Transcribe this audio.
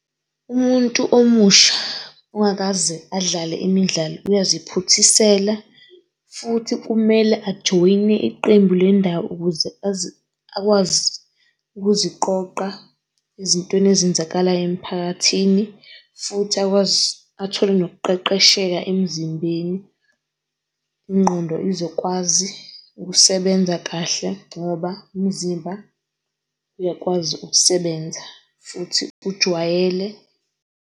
Umuntu omusha ongakaze adlale imidlalo uyaziphuthisela futhi kumele ajoyine iqembu lendawo ukuze azi akwazi ukuziqoqa ezintweni ezenzakalayo emiphakathini futhi athole nokuqeqesheka emzimbeni. Ingqondo izokwazi ukusebenza kahle ngoba umzimba uyakwazi ukusebenza futhi ujwayele.